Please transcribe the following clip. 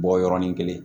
Bɔ yɔrɔnin kelen